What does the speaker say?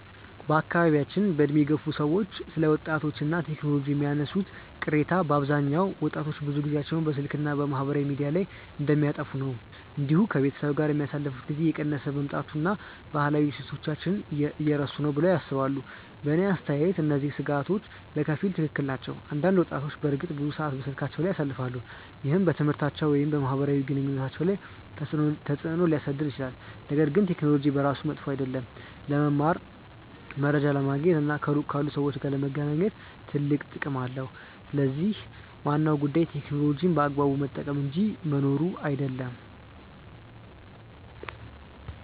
በአካባቢያችን ዕድሜ የገፉ ሰዎች ስለ ወጣቶች እና ቴክኖሎጂ የሚያነሱት ቅሬታ በአብዛኛው ወጣቶች ብዙ ጊዜያቸውን በስልክ እና በማህበራዊ ሚዲያ ላይ እንደሚያጠፉ ነው። እንዲሁም ከቤተሰብ ጋር የሚያሳልፉት ጊዜ እየቀነሰ መምጣቱን እና ባህላዊ እሴቶችን እየረሱ ነው ብለው ያስባሉ። በእኔ አስተያየት እነዚህ ስጋቶች በከፊል ትክክል ናቸው። አንዳንድ ወጣቶች በእርግጥ ብዙ ሰዓት በስልካቸው ላይ ያሳልፋሉ፣ ይህም በትምህርታቸው ወይም በማህበራዊ ግንኙነታቸው ላይ ተጽእኖ ሊያሳድር ይችላል። ነገር ግን ቴክኖሎጂ በራሱ መጥፎ አይደለም። ለመማር፣ መረጃ ለማግኘት እና ከሩቅ ካሉ ሰዎች ጋር ለመገናኘት ትልቅ ጥቅም አለው። ስለዚህ ዋናው ጉዳይ ቴክኖሎጂን በአግባቡ መጠቀም እንጂ መኖሩ አይደለም።